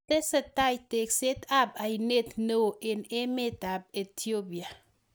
Tesetai tekset ap aineet neo eng emet AP Ethiopia